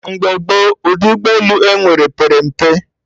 Mgbe gboo, ụdị ụgbọ elu enwere pere mpe